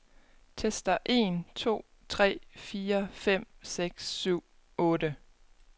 Tester en to tre fire fem seks syv otte.